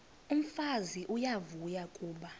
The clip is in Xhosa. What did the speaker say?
umfazi uyavuya kuba